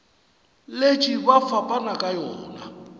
letše ba fapana ka yona